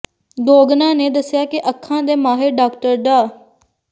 ਗੋਗਨਾ ਨੇ ਦੱਸਿਆ ਕਿ ਅੱਖਾਂ ਦੇ ਮਾਹਿਰ ਡਾਕਟਰ ਡਾ